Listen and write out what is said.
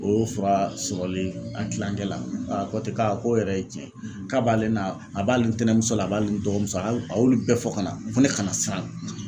o fura sɔrɔlen a kilankɛ la ko ten k'a ko yɛrɛ ye tiɲɛ ye, k'a b'ale na, a b'ale tɛnɛmuso la a b'alen dɔgɔmuso a y'u a y'olu bɛɛ fɔ ka na ko ne kana siran.